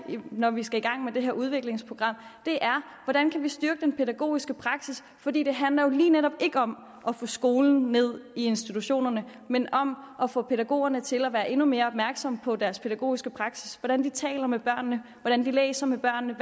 når vi skal i gang med det her udviklingsprogram er hvordan kan vi styrke den pædagogiske praksis for det det handler jo lige netop ikke om at få skolen ned i institutionerne men om at få pædagogerne til at være endnu mere opmærksomme på deres pædagogiske praksis hvordan de taler med børnene hvordan de læser med børnene